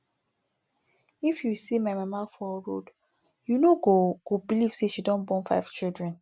if you see my mama for road you no go go believe say she don born five children